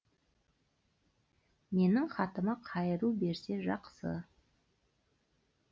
менің хатыма қайыру берсе жақсы